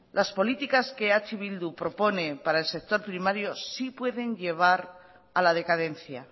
las políticas que eh bildu propone para el sector primario sí pueden llevar a la decadencia